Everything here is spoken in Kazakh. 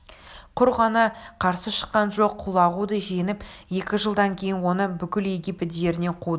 құр ғана қарсы шыққан жоқ құлағуды жеңіп екі жылдан кейін оны бүкіл египет жерінен қуды